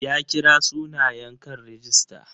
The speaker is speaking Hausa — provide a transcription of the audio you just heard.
Ya kira sunayen kan rigista.